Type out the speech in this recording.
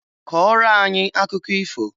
Kọọrọ anyị akụkọ ifo!